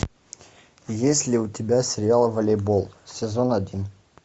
есть ли у тебя сериал волейбол сезон один